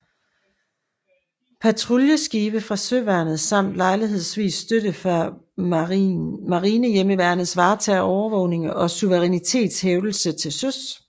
Patruljeskibe fra søværnet samt lejlighedsvis støtte fra Marinehjemmeværnet varetager overvågning og suverænitetshævdelse til søs